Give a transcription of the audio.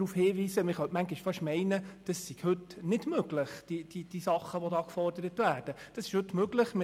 Manchmal könnte man fast meinen, dass all das, was hier gefordert wird, heute noch nicht möglich sei.